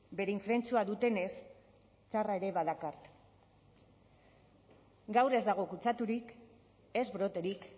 bere infrentzua dutenez txarra ere badakart gaur ez dago kutsaturik ez broterik